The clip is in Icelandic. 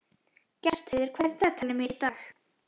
Gestheiður, hvað er í dagatalinu mínu í dag?